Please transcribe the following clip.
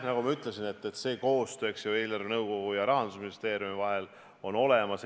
Nagu ma ütlesin, koostöö eelarvenõukogu ja Rahandusministeeriumi vahel on olemas.